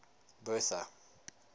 bertha